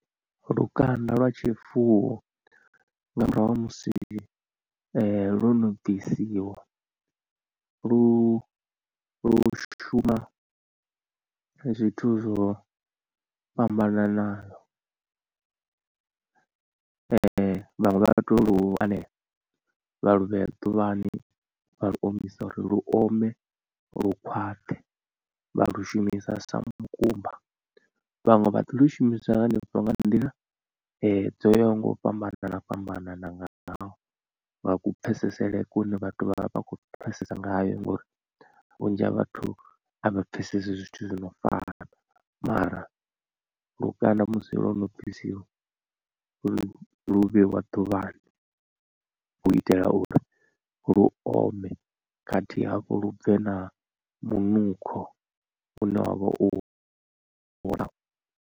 Lukanda lwa tshifuwo nga murahu ha musi lwo no bvisiwa lu lu shuma zwithu zwo fhambananaho vhaṅwe vha to lu anea vha lu vhea ḓuvhani vha lu omisa uri lu ome lu khwaṱhe vha lu shumisa sa mukumba. Vhaṅwe vha ḓi lu shumisa hanefho nga nḓila dzo yaho nga u fhambana fhambanana ngaho nga ku pfhesesele kune vhathu vha vha vha khou pfhesesa ngayo, ngori vhunzhi ha vhathu a vha pfhesesi zwithu zwi no fana mara lukanda musi lo no bvisiwa lu lu vheiwa ḓuvhani u itela uri lu ome khathihi hafhu lu bve na munukho une wa vha u .